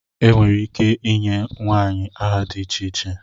Enwere ike ịnye nwanyị aha dị iche iche